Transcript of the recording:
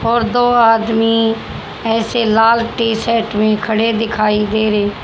और दो आदमी ऐसे लाल टी शर्ट में खड़े दिखाई दे रहे--